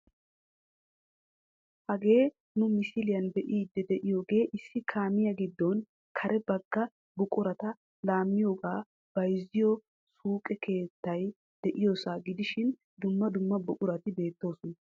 Hagee nu misiliyaan be'ide de'iyoogee issi kaamiyaa giddonne kare bagga buqurata laammiyooga bayzziyo suuqe keettay de'iyoosa gidishin dumma dumma buqurati beettoosona.